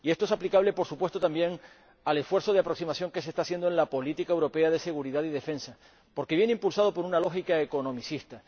Y esto es aplicable también, por supuesto, al esfuerzo de aproximación que se está haciendo en la política europea de seguridad y defensa, porque viene impulsado por una lógica economicista.